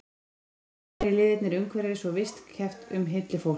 Einkum hafa fyrri liðirnir umhverfis- og vist- keppt um hylli fólks.